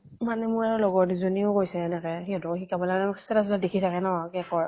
মানে মোৰ আৰু লগৰ দুজনীও কৈছে তাকে। সিহঁতকো শিকাব লাগে আৰু status দেখি থাকে ন cake ৰ